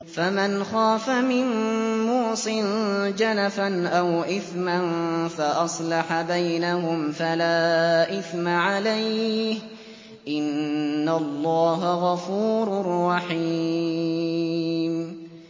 فَمَنْ خَافَ مِن مُّوصٍ جَنَفًا أَوْ إِثْمًا فَأَصْلَحَ بَيْنَهُمْ فَلَا إِثْمَ عَلَيْهِ ۚ إِنَّ اللَّهَ غَفُورٌ رَّحِيمٌ